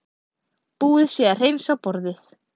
Búið sé að hreinsa borðið.